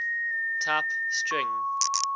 type string